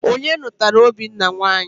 Onye nụtara Obinna nwanyị?